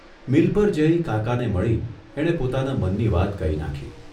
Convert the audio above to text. Mill પર જઇ કાકાને મળી એણે પોતાના મનની વાત કહી નાંખી.